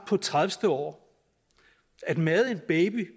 tredivete år at made en baby